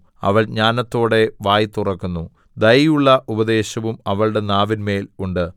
അവൾ ജ്ഞാനത്തോടെ വായ് തുറക്കുന്നു ദയയുള്ള ഉപദേശം അവളുടെ നാവിന്മേൽ ഉണ്ട്